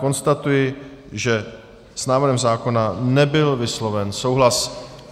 Konstatuji, že s návrhem zákona nebyl vysloven souhlas.